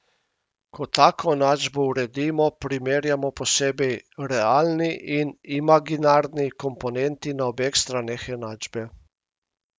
Ko tako enačbo uredimo, primerjamo posebej realni in imaginarni komponenti na obeh straneh enačbe.